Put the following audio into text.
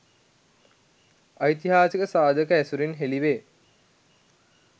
ඓතිහාසික සාධක ඇසුරින් හෙළිවේ.